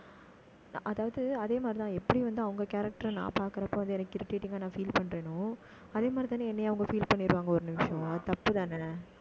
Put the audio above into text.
அதாவது, அதே மாதிரிதான் எப்படி வந்து, அவங்க character அ நான் பார்க்கிறப்போ அது நான் feel பண்றேனோ அதே மாதிரிதான, என்னையும் அவங்க feel பண்ணிடுவாங்க ஒரு நிமிஷம். அது தப்புதானே